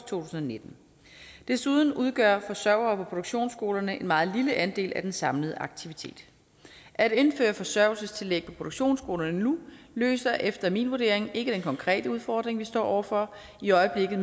tusind og nitten desuden udgør forsørgere på produktionsskolerne en meget lille andel af den samlede aktivitet at indføre forsørgertillæg på produktionsskolerne nu løser efter min vurdering ikke den konkrete udfordring vi står over for i øjeblikket